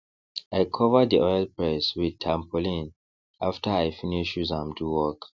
i cover dey oil press with tarpaulin after i finish use am do work